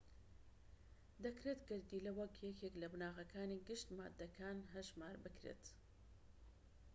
دەکرێت گەردیلە وەک یەکێک لە بناغەکانی گشت ماددەکان هەژمار بکرێت